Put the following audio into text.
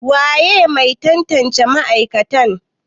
waye Mai tantance ma'aikatan?